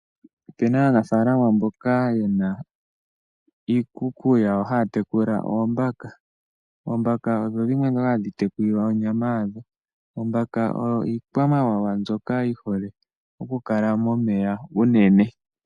Opena aanafalama mboka yena iikuku yawo haya tekula oombaka. Oombaka odho dhimwe dhoka hadhi tekulilwa onyama yadho. Oombaka oyo iikwamawawa mbyoka yi hole oku kala momeya unene.